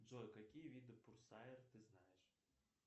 джой какие виды пурсаер ты знаешь